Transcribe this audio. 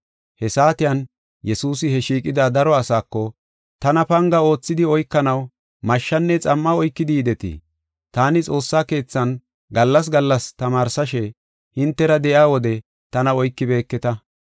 He saatiyan, Yesuusi he shiiqida daro asaako, “Tana panga oothidi oykanaw mashshanne xam7a oykidi yidetii? Taani xoossa keethan gallas gallas tamaarsashe hintera de7iya wode tana oykibeeketa.